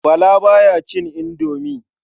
Bala ba ya cin indomi.